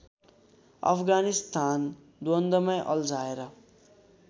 अफगानिस्तान द्वन्द्वमै अल्झाएर